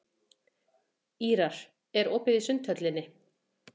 Ýrar, er opið í Sundhöllinni?